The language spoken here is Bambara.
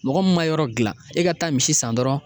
Mɔgɔ min ma yɔrɔ dilan e ka taa misi san dɔrɔn